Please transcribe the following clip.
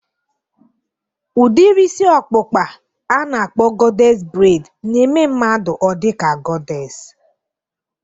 Udiri ịsị ọkpụkpaa a na-akpọ gọdés breid na-eme mmadụ ọ dị ka gọdés